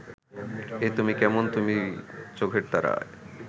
এ তুমি কেমন তুমি চোখের তারায়